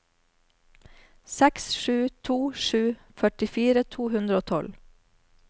seks sju to sju førtifire to hundre og tolv